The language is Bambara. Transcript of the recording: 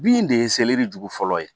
Bin de ye jugu fɔlɔ ye